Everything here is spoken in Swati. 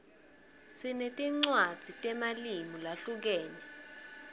sinetinwadzi temalimu lahlukene